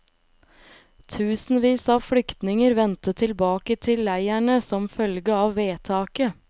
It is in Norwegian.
Tusenvis av flyktninger vendte tilbake til leirene som følge av vedtaket.